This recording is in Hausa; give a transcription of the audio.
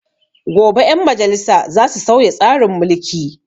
Gobe 'ƴan majalisa za su sauya tsarin mulki.